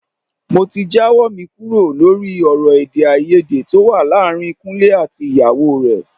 Mo ti jáwọ́ mi kúrò lórí ọ̀rọ̀ èdè-áiyedé tó wà láàárín Kúnlé àti ìyàwó rẹ̀.